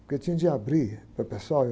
Porque tinha de abrir para o pessoal.